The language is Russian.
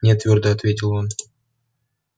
не твёрдо ответил он